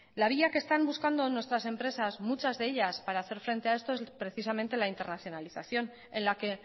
la vía que están buscando nuestras empresas muchas de ellas para hacer frente a esto es precisamente la internacionalización en la que